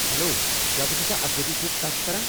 Hello, کیٚا بہٕ چُھسا اسوتھی سۭتۍ کتھ کران؟